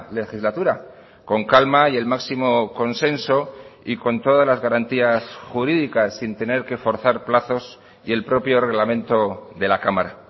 legislatura con calma y el máximo consenso y con todas las garantías jurídicas sin tener que forzar plazos y el propio reglamento de la cámara